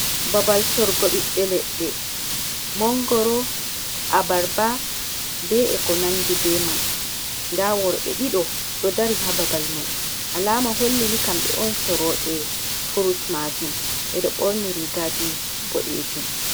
Babal sorugo ɓiɓɓe leɗɗe, mongoro, abarba, be e ko nandi be man nda worɓe ɗiɗo ɗo dari ha babal mai alama hollini kamɓe on soroɓe furut maajum ɓeɗo borni rigaji bodejum.